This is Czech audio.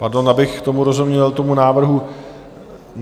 Pardon, abych tomu rozuměl, tomu návrhu.